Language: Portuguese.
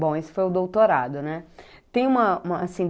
Bom, esse foi o doutorado, né? Tem uma uma assim